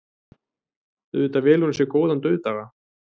Auðvitað velur hún góðan dauðdaga.